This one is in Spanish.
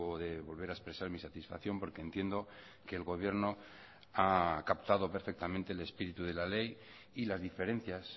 de volver a expresar mi satisfacción porque entiendo que el gobierno ha captado perfectamente el espíritu de la ley y las diferencias